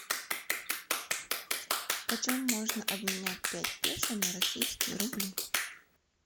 почем можно обменять пять песо на российские рубли